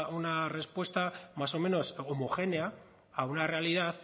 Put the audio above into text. una respuesta más o menos homogénea a una realidad